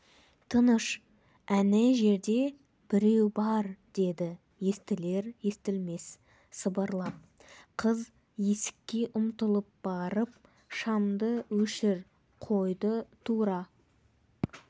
тыныш әне жерде біреу бар деді естілер-естілмес сыбырлап қыз есікке ұмтылып барып шамды өшір қойды тура